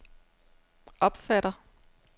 opfatter